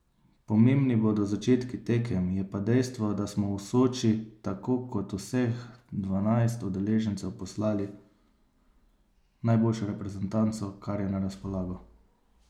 Pomembni bodo začetki tekem, je pa dejstvo, da smo v Soči tako kot vseh dvanajst udeležencev poslali najboljšo reprezentanco, kar je na razpolago.